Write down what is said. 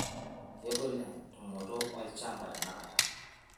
kegol entumoto oshamba tenakata